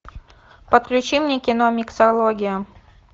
подключи мне кино миксология